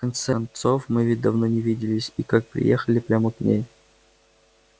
в конце концов мы ведь давно не виделись и как приехали прямо к ней